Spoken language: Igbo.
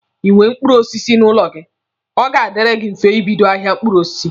Ị nwee mkpụrụ osisi n'ụlọ gị, ọ ga-adiri gị mfe ibido ahịa mkpụrụ osisi.